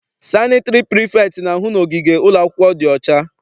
Sanịtịrị prifektị na-ahụ na ogige ụlọakwụkwọ dị ọcha.